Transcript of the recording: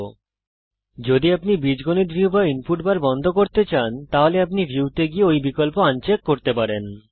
যদি আপনি বীজগণিত এলজেব্রা ভিউ অথবা ইনপুট বার বন্ধ করতে চান তাহলে আপনি ভিউ তে গিয়ে ওই বিকল্প আন চেক করে এটা করতে পারেন